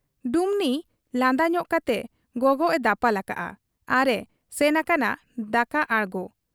ᱰᱩᱢᱱᱤ ᱞᱟᱸᱫᱟ ᱧᱚᱜ ᱠᱟᱛᱮ ᱜᱚᱜᱚᱜ ᱮ ᱫᱟᱯᱟᱞ ᱟᱠᱟᱜ ᱟ ᱟᱨ ᱮ ᱥᱮᱱ ᱟᱠᱟᱱᱟ ᱫᱟᱠᱟ ᱟᱬᱜᱚ ᱾